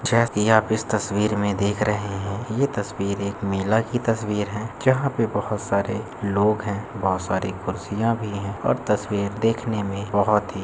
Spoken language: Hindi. आप इस तस्वीर मे देख रहे हैं यह तस्वीर एक मेला की तस्वीर है | जहां पर बहुत सारे लोग है बहुत सारी कुर्सियां भी हैं और तस्वीर देखने में बहुत ही--